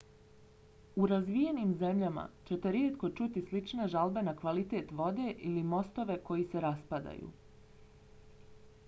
u razvijenim zemljama ćete rijetko čuti slične žalbe na kvalitet vode ili mostove koji se raspadaju